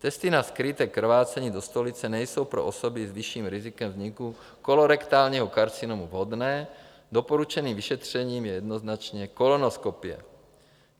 Testy na skryté krvácení do stolice nejsou pro osoby s vyšším rizikem vzniku kolorektálního karcinomu vhodné, doporučeným vyšetřením je jednoznačně kolonoskopie.